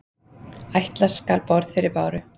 Ætla skal borð fyrir báru.